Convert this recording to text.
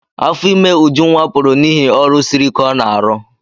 Afọ ime Ujunwa pụrụ n'ihi ọrụ siri ike ọ n'arụ.